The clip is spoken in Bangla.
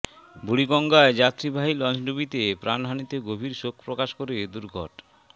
বুড়িগঙ্গায় যাত্রীবাহী লঞ্চডুবিতে প্রাণহানিতে গভীর শোক প্রকাশ করে দুর্ঘট